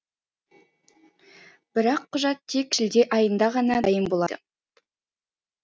бірақ құжат тек шілде айында ғана дайын болады